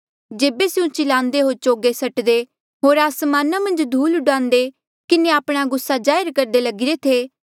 जेबे स्यों चिलांदे होर चोगे सटदे होर आसमाना मन्झ धूल डुआन्दे किन्हें आपणा गुस्सा जाहिर करदे लगिरे थे